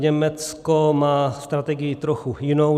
Německo má strategii trochu jinou.